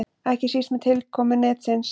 Ekki síst með tilkomu netsins.